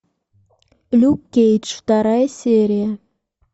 люк кейдж вторая серия